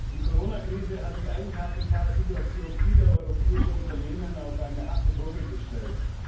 Die Corona Krise hat die Eigenkapitalsituation vieler europäischer Unternehmen auf eine harte Probe gestellt.